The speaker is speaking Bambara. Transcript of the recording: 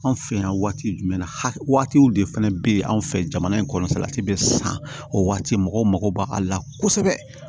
Anw fɛ yan waati jumɛn hakɛ waatiw de fana bɛ anw fɛ jamana in kɔnɔ salati bɛ san o waati mɔgɔw mako b'ale la kosɛbɛ